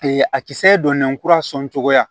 a kisɛ donnen kura sɔn cogoya